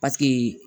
Paseke